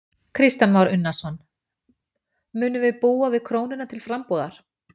Kristján Már Unnarsson: Munum við búa við krónuna til frambúðar?